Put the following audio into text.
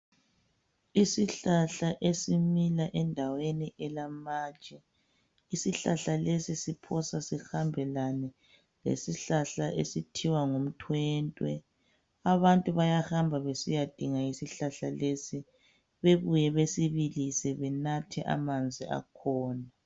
Isihlahla esimila endaweni elamatshe. Isihlahla lesi siphosa sihambelane lesihlahla esithiwa ngumthwente. Abantu bayahamba besiyadinga isihlahla lesi bebuye besibilise benathe amanzi akhona.